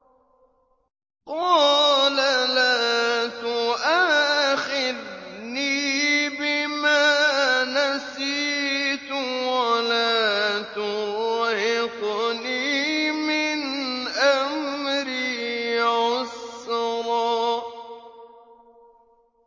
قَالَ لَا تُؤَاخِذْنِي بِمَا نَسِيتُ وَلَا تُرْهِقْنِي مِنْ أَمْرِي عُسْرًا